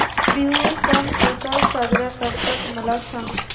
बिहू सण कसा साजरा करतात मला सांग